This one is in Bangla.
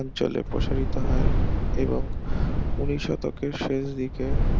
অঞ্চলে প্রসারিত হয় এবং উনিশ শতকের শেষ দিকে